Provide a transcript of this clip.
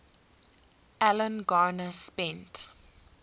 alan garner spent